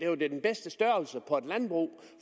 var den bedste størrelse på et landbrug